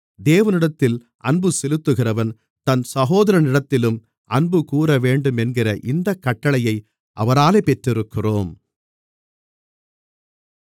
தேவனிடத்தில் அன்புசெலுத்துகிறவன் தன் சகோதரனிடத்திலும் அன்புகூரவேண்டுமென்கிற இந்தக் கட்டளையை அவராலே பெற்றிருக்கிறோம்